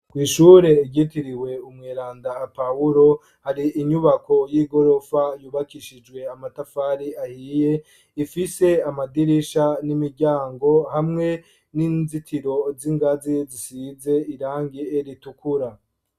Kw'ishure ryitiriwe umweranda Pawulo hari inyubako y'igorofa yubakishijwe amatafari ahiye, ifise amadirisha n'imiryango hamwe n'inzitiro z'ingazi zisize irangi ritukura.